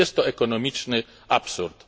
Jest to ekonomiczny absurd.